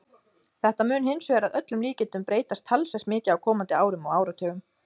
Þetta mun hins vegar að öllum líkindum breytast talsvert mikið á komandi árum og áratugum.